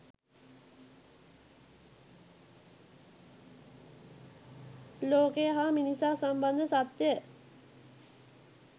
ලෝකය හා මිනිසා සම්බන්ධ සත්‍යය